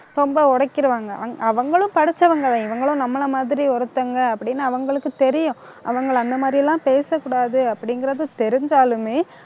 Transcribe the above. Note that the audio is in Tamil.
ரொம்ப உடைக்கிறுவாங்க அங்~ அவங்களும் படிச்சவங்கதான். இவங்களும் நம்மளை மாதிரி ஒருத்தவங்க, அப்படின்னு அவங்களுக்கு தெரியும். அவங்களை அந்த மாதிரி எல்லாம் பேசக்கூடாது அப்படிங்கிறது தெரிஞ்சாலுமே